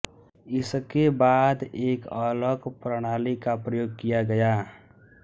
इसके बाद एक अलग प्रणाली का प्रयोग किया गया